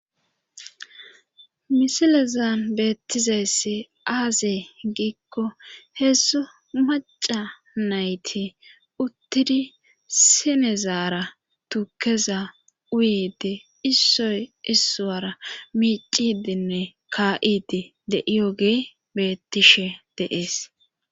Misilezaan beettizaysse aazee giikko heessu maca nayti uttidi sinezaara tuukeza uyede issoy issuwara miicidinne ka7idi deiyogee beettishe deees